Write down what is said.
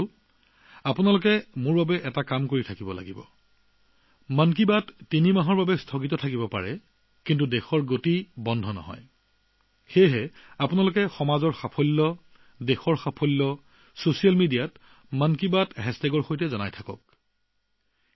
কিন্তু বন্ধুসকল আপোনালোকে এটা কাম কৰিব লাগিব মন কী বাত তিনিমাহৰ বাবে বিৰতি থাকিলেও কিন্তু দেশৰ ধাৰণা অব্যাহত থাকিব গতিকে সমাজৰ ধাৰণা দেশৰ ধাৰণা ছচিয়েল মিডিয়াত মন কী বাত হেচটেগ লিখি পোষ্ট কৰা উচিত